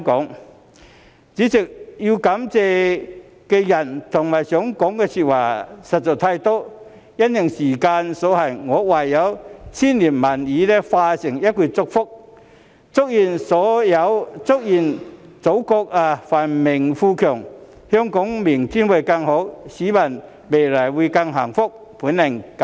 代理主席，要感謝的人和想說的話實在太多，但因時間所限，我唯有將千言萬語化成一句祝福：祝願祖國繁榮富強，香港明天會更好，市民未來會更幸福。